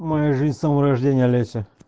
моя жизнь с самого рождения олеся